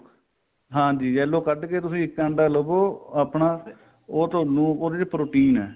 ਹਾਂਜੀ yellow ਕੱਡ ਕੇ ਤੁਸੀਂ ਇੱਕ ਅੰਡਾ ਲਵੋ ਆਪਣਾ ਉਹ ਤੁਹਾਨੂੰ ਉਹਦੇ ਚ protein ਏ